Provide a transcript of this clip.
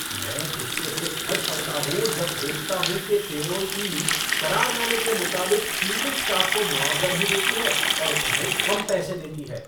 मैं गुस्से से फट पड़ता हूँ जब देखता हूँ कि पैरोल टीम, करारनामे के मुताबिक, क्लीनिंग स्टाफ़ को मुआवजा नहीं देती है और उन्हें कम पैसे देती है।